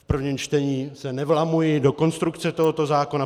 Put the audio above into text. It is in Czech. V prvním čtení se nevlamuji do konstrukce tohoto zákona.